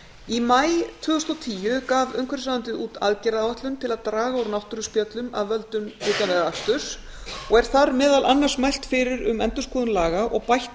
í maí tvö þúsund og tíu gaf umhverfisráðuneytið út aðgerðaáætlun til að draga úr náttúruspjöllum af völdum utanvegaaksturs og er þar meðal annars mælt fyrir um endurskoðun laga og bætta